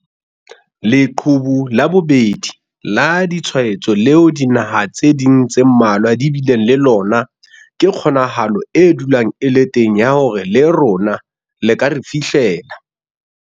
'Leqhubu la bobedi' la ditshwaetso leo dinaha tse ding tse mmalwa di bileng le lona ke kgonahalo e dulang e le teng ya hore le rona le ka re fihlela.